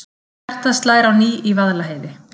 Hjartað slær á ný í Vaðlaheiði